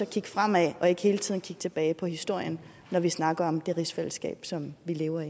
kigge fremad og ikke hele tiden kigge tilbage på historien når vi snakker om det rigsfællesskab som vi lever